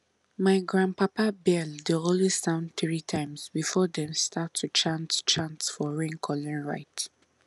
my grandpapa bell dey always sound three times before dem start to chant chant for raincalling rite